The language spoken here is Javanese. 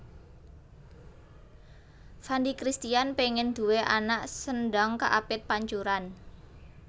Fandi Christian pengen duwe anak sendhang kaapit pancuran